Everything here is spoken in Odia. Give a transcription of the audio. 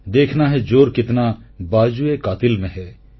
ଦେଖନା ହୈ ଯୋର କିତ୍ନା ବାଜୁଏକାତିଲ୍ ମେ ହୈ